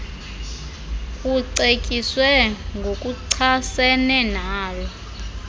kucetyiswe ngokuchasene nalo